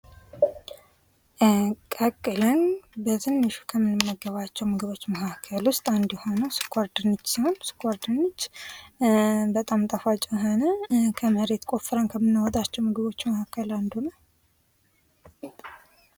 ቀቅለል በትንሹ ከምንመገባቸው ምግቦች መካከል ውስጥ አንዱ የሆነው ስኳር ድንች ሲሆን ስኳር ድንች በጣም ጣፋጭ የሆነ ከመሬት ቆፍረን ከምናወጣቸው ምግቦች መካከል አንዱ ነው ።